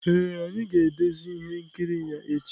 Ee, anyị ga-edezi ihe nkiri ya echi.